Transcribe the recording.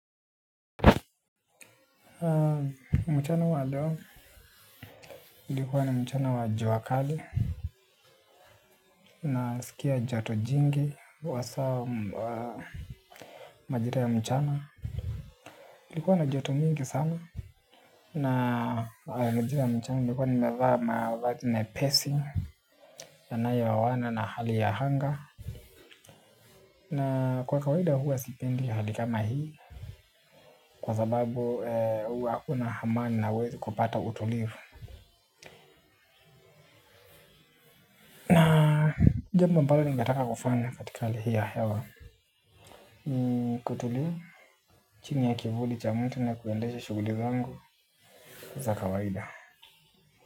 Mchana wa leo ilikuwa ni mchana wa jua kali. Nasikia joto jingi wasaa wa majira ya mchana ilikuwa na joto lingi sana. Na majira ya mchana nilikuwa nimevaa mavazi mepesi yanayo oana na hali ya anga. Na kwa kawaida huwa sipendi hali kama hii. Kwa sababu huwa hakuna amani na hauwezi kupata utulivu. Jambo mbalo ningetaka kufanya katika hali hii ya hewa ni kutulia chini ya kivuli cha mti na kuendesha shughuli zangu za kawaida.